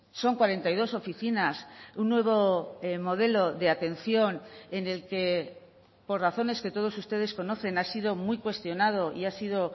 son cuarenta y dos oficinas un nuevo modelo de atención en el que por razones que todos ustedes conocen ha sido muy cuestionado y ha sido